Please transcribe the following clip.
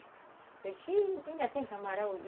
Eu disse, ainda tem camarão?